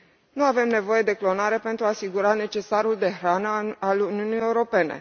Nu avem nevoie de clonare pentru a asigura necesarul de hrană al Uniunii Europene.